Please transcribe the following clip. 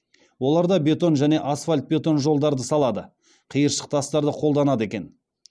олар да бетон және асфальт бетон жолдарды салады қиыршық тастарды қолданады екен